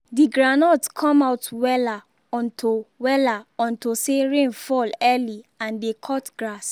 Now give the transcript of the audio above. the groundnut come out wella unto wella unto say rain fall early and dey cut grass